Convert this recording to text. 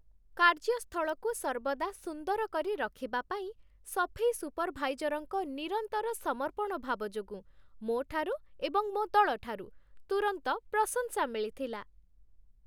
କାର୍ଯ୍ୟସ୍ଥଳକୁ ସର୍ବଦା ସୁନ୍ଦର କରି ରଖିବା ପାଇଁ ସଫେଇ ସୁପର୍‌ଭାଇଜର୍‌ଙ୍କ ନିରନ୍ତର ସମର୍ପଣ ଭାବ ଯୋଗୁଁ ମୋ ଠାରୁ ଏବଂ ମୋ ଦଳଠାରୁ ତୁରନ୍ତ ପ୍ରଶଂସା ମିଳିଥିଲା